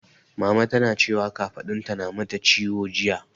Mama tana cewa kafaɗunta na mata ciwo jiya.